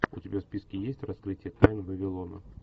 у тебя в списке есть раскрытие тайн вавилона